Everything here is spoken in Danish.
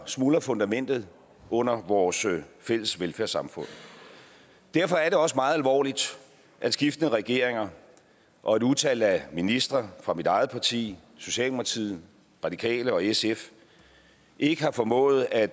smuldrer fundamentet under vores fælles velfærdssamfund derfor er det også meget alvorligt at skiftende regeringer og et utal af ministre fra mit eget parti socialdemokratiet radikale og sf ikke har formået at